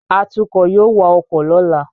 Atukọ̀ yóò wa ọkọ̀ lọ́la